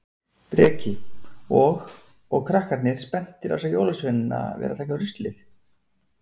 Breki: Og, og krakkarnir spenntir að sjá jólasveinana vera að taka ruslið?